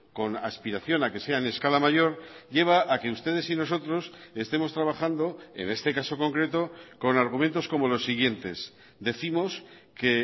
con aspiración a que sea en escala mayor lleva a que ustedes y nosotros estemos trabajando en este caso concreto con argumentos como los siguientes décimos que